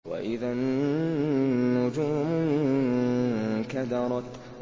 وَإِذَا النُّجُومُ انكَدَرَتْ